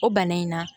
O bana in na